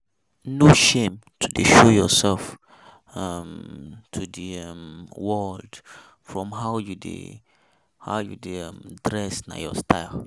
No shame to show yourself um to de um world from how you dey how you dey um dress na your style.